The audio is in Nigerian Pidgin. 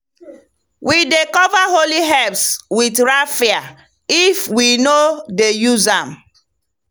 we dey cover holy herbs with raffia if we no dey use am.